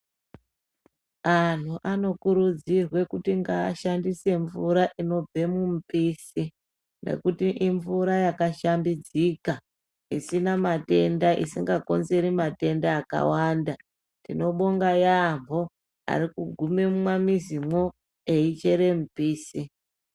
Antu anokurudzirwa kuti ngashandise mvura inobve mumupise. Nekuti imvura yakashambidzika isina matenda isingakonzeri matenda akawanda. Tinobonga yaamho ari kugume mumamizimwo eichere mipise.